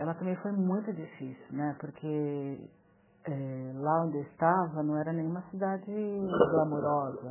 Ela também foi muito difícil né, porque é... lá onde eu estava não era nenhuma cidade glamourosa.